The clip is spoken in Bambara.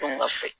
Don ga fɛ